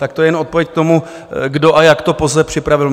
Tak to je jen odpověď k tomu, kdo a jak to POZE připravil.